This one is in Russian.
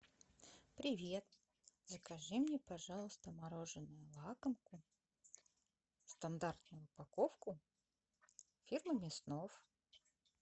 привет закажи мне пожалуйста мороженое лакомку стандартную упаковку фирмы мяснов